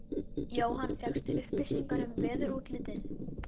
Jóhann: Fékkstu upplýsingar um veðurútlitið?